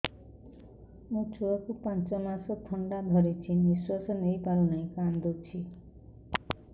ମୋ ଛୁଆକୁ ପାଞ୍ଚ ମାସ ଥଣ୍ଡା ଧରିଛି ନିଶ୍ୱାସ ନେଇ ପାରୁ ନାହିଁ କାଂଦୁଛି